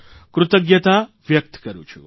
કૃતજ્ઞતા વ્યકત કરૂં છું